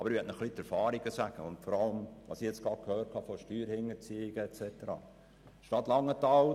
Aber ich möchte Ihnen die Erfahrungen aufzeigen und dem entgegentreten, was über Steuerhinterziehungen und so weiter gesagt worden ist.